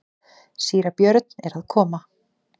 Síra Björn er að koma!